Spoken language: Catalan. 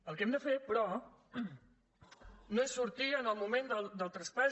el que hem de fer però no és sortir en el moment del traspàs